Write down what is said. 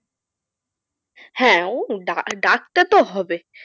হ্যাঁ ও ডাকতে তো হবে।